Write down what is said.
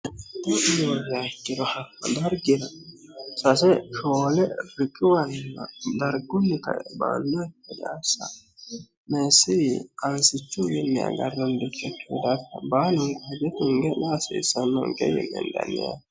llihoja ikkiro hakko dargira sase shoole fikiwanna dargunni kae baanno ikkediassa meessiri aansichu miinni agarrondotchochihudarta baanunko hije tunge'ne asiissanonke yine hendanni yaate